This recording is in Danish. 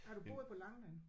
Har du boet på Langeland?